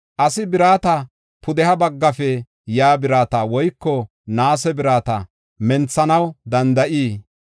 Asi birata, pudeha baggafe yaa birata woyko naase birata menthanaw danda7ii?